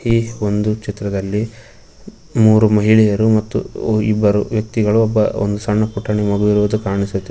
ಈ ಒಂದು ಚಿತ್ರದಲ್ಲಿ ಮೂರು ಮಹಿಳೆಯರು ಮತ್ತು ಓ ಇಬ್ಬರು ವ್ಯಕ್ತಿಗಳು ಒಬ್ಬ ಒಂದೂ ಪುಟಾಣಿ ಮಗು ಇರುವುದು ಕಾಣಿಸುತ್ತಿ --